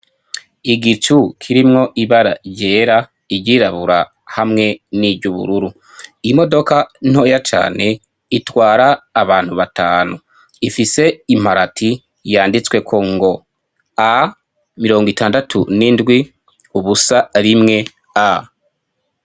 Igicu kirimwo ibara ryera, iryirabura hamwe n'iry'ubururu. Imodoka ntoya cane itwara abantu batanu, ifise imparati yanditsweko ngo, A mirongo itandatu n'indwi ubusa rimwe, A.